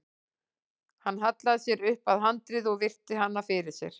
Hann hallaði sér upp að handriði og virti hana fyrir sér.